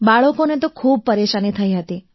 બાળકોને તો ખૂબ જ પરેશાની થતી હતી